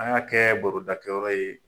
An y'a kɛ barodakɛyɔrɔ ye.